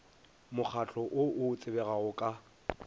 mokgahlo o o tsebegago ka